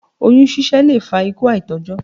Oyún ṣiṣẹ́ lè fa ikú àìtójó.